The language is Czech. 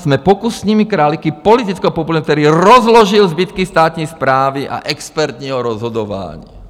Jsme pokusnými králíky politického populismu, který rozložil zbytky státní správy a expertního rozhodování.